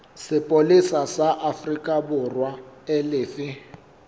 sepolesa sa aforikaborwa e lefe